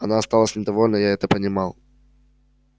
она осталась недовольна я это понимал